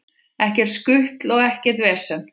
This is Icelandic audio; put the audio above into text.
Ekkert skutl og vesen.